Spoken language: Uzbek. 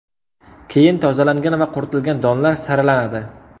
Keyin tozalangan va quritilgan donlar saralanadi.